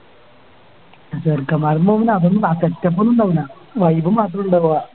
ചെറുക്കൻമ്മാരോപ്പം പോവുമ്പോ അതൊന്നും ആ Setup ഒന്നും ഉണ്ടാവൂല Vibe മാത്രേ ഉണ്ടാവാ